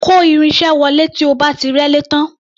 Kò irin-iṣẹ́ wọlé tí o bá ti rẹ́lé tán.